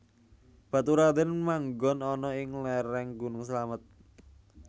Baturadèn manggon ana ing léréng gunung Slamet